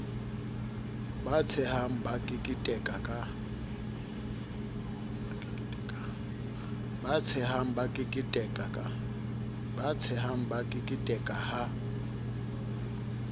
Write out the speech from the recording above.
ba tshehang ba keketeka ha